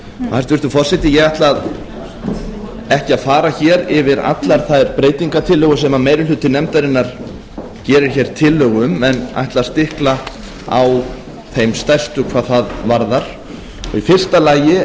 hæstvirtur forseti ég ætla ekki að fara hér yfir allar þær breytingartillögur sem meiri hluti nefndarinnar gerir hér tillögu um en ætla að stikla á þeim stærstu hvað það varðar í fyrsta lagi